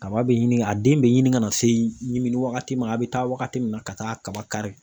Kaba bɛ ɲini a den bɛ ɲini ka n'a se ɲimini wagati ma a bɛ taa wagati min na ka taa kaba kari